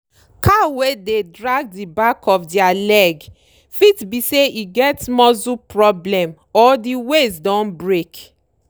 cow wey dey drag di back of dere leg fit be say e get muscle problem or di waist don break.